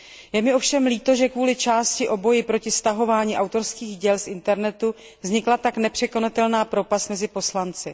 Je mi ovšem líto, že kvůli části o boji proti stahování autorských děl z internetu vznikla tak nepřekonatelná propast mezi poslanci.